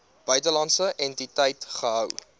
buitelandse entiteit gehou